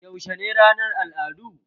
Yaushe ne ranar al'adu?